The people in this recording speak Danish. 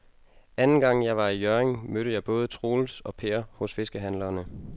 Anden gang jeg var i Hjørring, mødte jeg både Troels og Per hos fiskehandlerne.